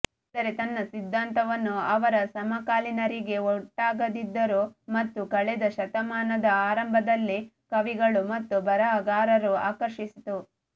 ಆದರೆ ತನ್ನ ಸಿದ್ಧಾಂತವನ್ನು ಅವರ ಸಮಕಾಲೀನರಿಗೆ ಒಗಟಾಗಿದ್ದರು ಮತ್ತು ಕಳೆದ ಶತಮಾನದ ಆರಂಭದಲ್ಲಿ ಕವಿಗಳು ಮತ್ತು ಬರಹಗಾರರು ಆಕರ್ಷಿಸಿತು